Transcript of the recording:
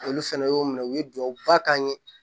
Olu fɛnɛ y'o minɛ u ye duwawuba kan ye